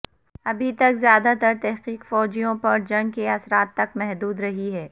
ابھی تک زیادہ تر تحقیق فوجیوں پر جنگ کے اثرات تک محدود رہی ہے